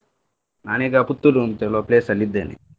ನಾನ್ ಈಗ Puttur ಅಂತ ಹೇಳುವ place ಅಲ್ಲಿ ಇದ್ದೇನೆ.